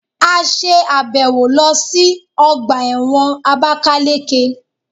A ṣe àbẹ̀wò lọ sí ọgbà ẹ̀wọ̀n àbákáleke